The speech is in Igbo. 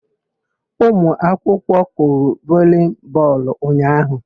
Umụakwụkwọ kụrụ volii bọọlụ ụnyaahụ.